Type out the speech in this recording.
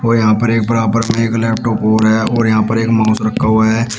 और यहां पर एक बराबर में एक लैपटॉप और है और यहां पर एक माउस रखा हुआ है। --